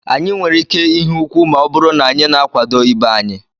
Anyị nwere ike ihe úkwú ma ọ bụrụ na anyị na-akwado ibe anyị